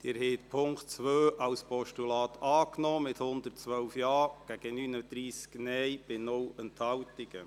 Sie haben den Punkt 2 als Postulat angenommen, mit 112 Ja- gegen 39 Nein-Stimmen bei 0 Enthaltungen.